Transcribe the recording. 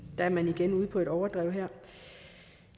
at man er ude på et overdrev her